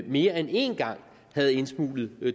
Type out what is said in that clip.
mere end én gang havde indsmuglet